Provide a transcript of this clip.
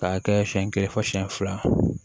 K'a kɛ siɲɛ kelen fɔ siyɛn fila